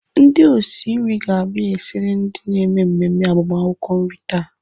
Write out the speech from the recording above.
Ndị osi nri ga-abia esiri ndị na-eme mmemme agbamakwụkwọ nri taa.